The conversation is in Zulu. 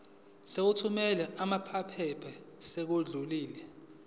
sokuthumela lamaphepha sesidlulile